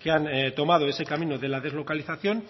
que han tomado ese camino de la deslocalización